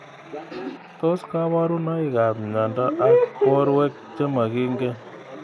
Tos kaburunoik ab mnyendo ab borwek chemakingen.